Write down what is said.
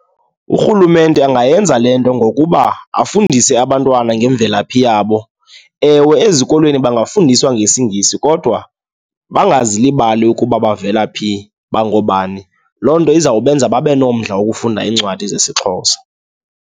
Urhulumente angayenza le nto ngokuba afundise abantwana ngemvelaphi yabo. Ewe, ezikolweni bangafundiswa ngesiNgisi kodwa bangazilibali ukuba bavela phi, bangoobani. Loo nto izawubenza babe nomdla wokufunda iincwadi zesiXhosa.